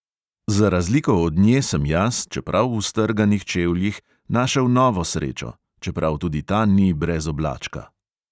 Za razliko od nje sem jaz, čeprav v strganih čevljih, našel novo srečo, čeprav tudi ta ni brez oblačka.